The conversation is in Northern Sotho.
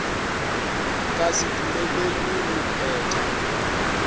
ka se dumelelwe go phetha